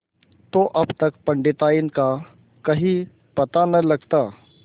तो अब तक पंडिताइन का कहीं पता न लगता